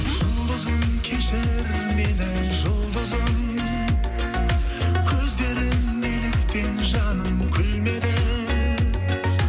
жұлдызым кешір мені жұлдызым көздерің неліктен жаным күлмеді